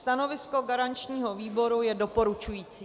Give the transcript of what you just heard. Stanovisko garančního výboru je doporučující.